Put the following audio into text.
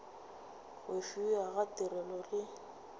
go fiwa ga tirelo le